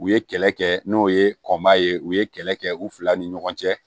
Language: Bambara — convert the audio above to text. U ye kɛlɛ kɛ n'o ye kɔn baa ye u ye kɛlɛ kɛ u fila ni ɲɔgɔn cɛ